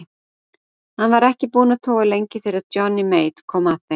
Hann var ekki búinn að toga lengi þegar Johnny Mate kom að þeim.